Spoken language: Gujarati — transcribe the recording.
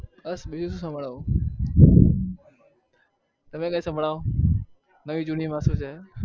બસ બીજું શું સંભળાવું તમે કઈ સંભળાવો નવી જૂની વાતો છે.